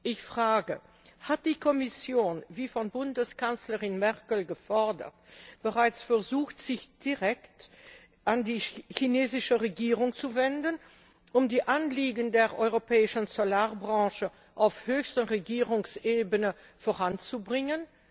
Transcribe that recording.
Ich frage Hat die Kommission wie von Bundeskanzlerin Merkel gefordert bereits versucht, sich direkt an die chinesische Regierung zu wenden, um die Anliegen der europäischen Solarbranche auf höchster Regierungsebene voranzubringen?